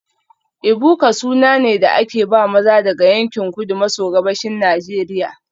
Ebuka suna ne da aka ba maza daga yankin Kudu maso Gabashin Najeriya